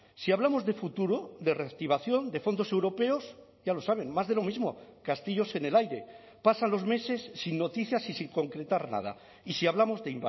si hablamos de futuro de reactivación de fondos europeos ya lo saben más de lo mismo castillos en el aire pasan los meses sin noticias y sin concretar nada y si hablamos de